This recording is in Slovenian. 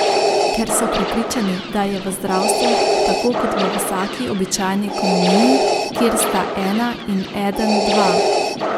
Ker so prepričani, da je v zdravstvu tako kot v vsaki običajni ekonomiji, kjer sta ena in eden dva.